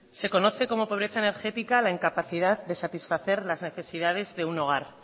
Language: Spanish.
se conoce como la pobreza energética la incapacidad de satisfacer las necesidades de un hogar